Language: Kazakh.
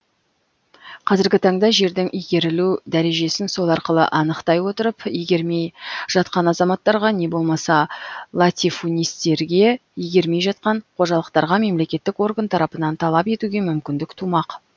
қазіргі таңда жердің игерілу дәрежесін сол арқылы анықтай отырып игермей жатқан азаматтарға не болмаса латифунистерге игермей жатқан қожалықтарға мемлекеттік орган тарапынан талап етуге мүмкіндік тумақ